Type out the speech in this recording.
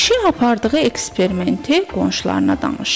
Kişi apardığı eksperimenti qonşularına danışır.